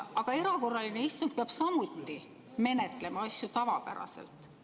Aga erakorraline istung peab samuti menetlema asju tavapäraselt.